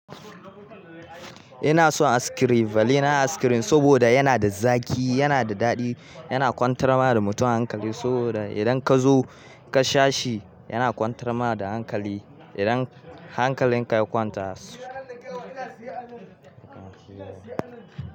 Ina son askirim, vanilla askirim saboda yana da zaki, yana da daɗi, yana kwantar ma da mutum hankali, saboda idan ka zo, ka sha shi, yana kwantar ma da hankali. Idan hankalinka ya kwanta, se.